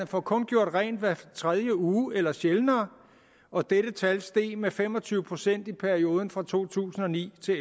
får kun gjort rent hver tredje uge eller sjældnere og dette tal steg med fem og tyve procent i perioden fra to tusind og ni til